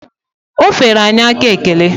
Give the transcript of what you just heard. O feere anyị aka ekele.